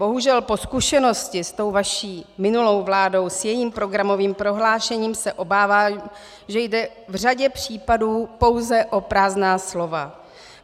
Bohužel po zkušenosti s tou vaší minulou vládou, s jejím programovým prohlášením, se obávám, že jde v řadě případů pouze o prázdná slova.